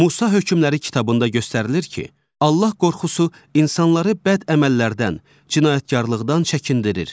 Musa hökmləri kitabında göstərilir ki, Allah qorxusu insanları bəd əməllərdən, cinaykarlıqdan çəkindirir.